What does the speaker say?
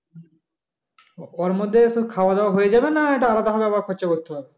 ওর মধ্যে খাওয়া দাওয়া হয়ে যাবে না এটা আলাদা ভাবে খরচা করতে হবে?